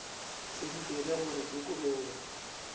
se ntšwele gore ke kolobe